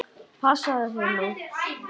Passaðu þig nú!